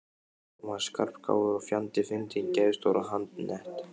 Hún var skarpgáfuð og fjandi fyndin, geðstór og handnett.